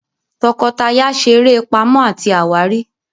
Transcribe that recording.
tọkọtaya ṣe eré Pàmò àti àwárí.